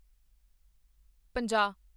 ਪੰਜਾਹ